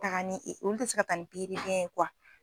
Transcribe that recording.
Taga ni olu tɛ se ka taa ni pikiribiyɛn ye